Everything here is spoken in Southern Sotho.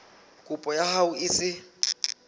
kopo ya hao e se